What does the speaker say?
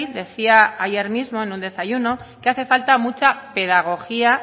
decía ayer mismo en un desayuno que hace falta mucha pedagogía